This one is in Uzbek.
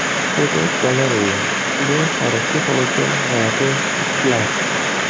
Fotogalereya: Kishini hayratga soluvchi g‘alati faktlar.